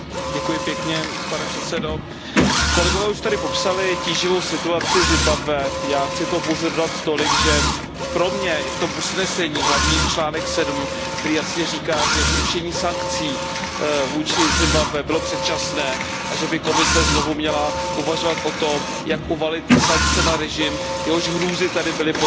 Pane předsedající, kolegové už tady popsali tíživou situaci v Zimbabwe, já chci k tomu pouze dodat tolik, že pro mě je v tom usnesení hlavní bod 7, který jasně říká, že zrušení sankcí vůči Zimbabwe bylo předčasné a že by Komise znovu měla uvažovat o tom, jak uvalit sankce na režim, jehož hrůzy tady byly podrobně popsány.